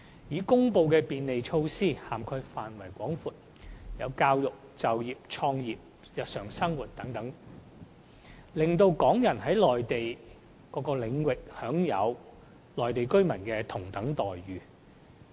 已公布的便利措施涵蓋範圍廣闊，包括教育、就業、創業和日常生活等方面，讓港人在內地各個領域享有與內地居民同等的待遇。